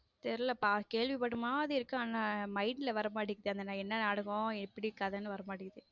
தெரியல கேள்விப்பட்ட மாதிரி இருக்கு ஆனா mind ல வர மாட்டேங்குது அது என்ன நாடகம் எப்படி கதை வரமாட்டேங்குது.